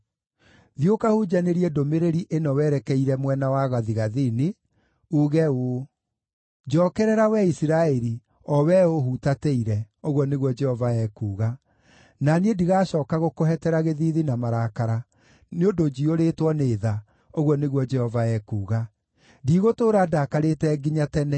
Thiĩ ũkahunjanĩrie ndũmĩrĩri ĩno werekeire mwena wa gathigathini, uuge ũũ: “ ‘Njookerera, wee Isiraeli, o wee ũũhutatĩire,’ ũguo nĩguo Jehova ekuuga, ‘na niĩ ndigacooka gũkũhetera gĩthiithi na marakara, nĩ ũndũ njiyũrĩtwo nĩ tha,’ ũguo nĩguo Jehova ekuuga. ‘Ndigũtũũra ndakarĩte nginya tene.